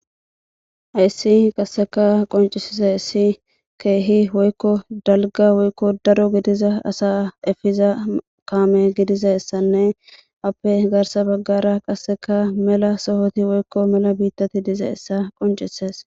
Hayssi qasseka qoncisisa issi keehi woykko dalga woykko daro gidiza asa efiza kaame gidiza essanne appe gaarsa baggara qasseka mela sohoti woykko mela biittati diiza essa qoncises.